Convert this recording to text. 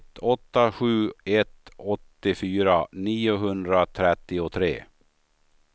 ett åtta sju ett åttiofyra niohundratrettiotre